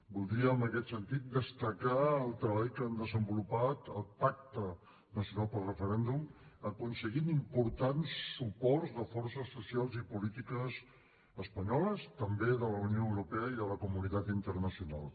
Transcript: voldria en aquest sentit destacar el treball que s’ha desenvolupat al pacte nacional pel referèndum per aconseguir important suports de forces socials i polítiques espanyoles i també de la unió europea i de la comunitat internacional